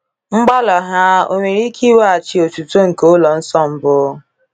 Mgbalị ha o nwere ike iweghachi otuto nke ụlọ nsọ mbụ?